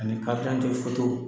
Ani .